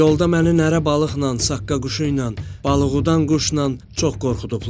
Yolda məni nərə balıqla, saqqaquşuyla, balığıdan quşla çox qorxudublar.